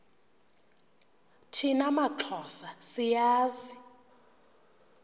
thina maxhosa siyazi